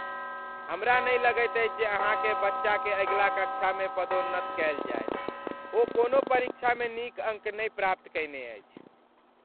हमरा नहि लगैत अछि जे अहाँक बच्चाकेँ अगिला कक्षामे पदोन्नत कयल जायत। ओ कोनो परीक्षामे नीक अङ्क नहि प्राप्त कयने अछि।